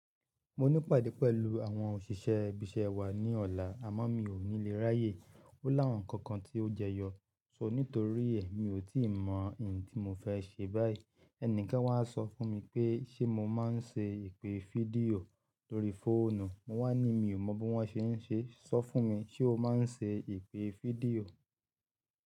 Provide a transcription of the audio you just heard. Mo ní pàdé pẹ̀lú àwọn òṣìṣẹ́ ibi-iṣẹ́ wa ní ọ̀la àmọ́ mi ò ní le ráyè. Ó lá àwọn ǹkan kan tí ó jẹyọ, so ní torí ẹ́ mi ò tí ì mọ ìyẹn tí mo fẹ́ ṣe báyìí. Ẹni kan wá sọ fún mi pé ṣé mo máa ń ṣe ìpè fídíò lórí fóònù. Mo wá ní mi ò mọ bí wọ́n ṣe ń ṣe, sọ fún mi ṣé o máa ń ṣe ìpè fídíò?